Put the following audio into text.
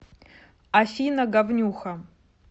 афина говнюха